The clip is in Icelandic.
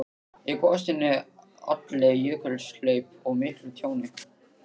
Í gosinu olli jökulhlaup og miklu tjóni.